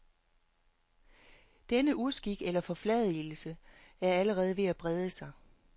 Denne uskik, eller forfladigelse, er allerede ved at brede sig.